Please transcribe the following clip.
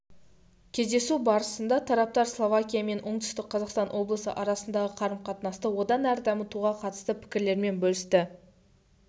кездесу барысында тараптар словакия мен оңтүстік қазақстан облысы арасындағы қарым-қатынасты одан әрі дамытуға қатысты пікірлерімен бөлісті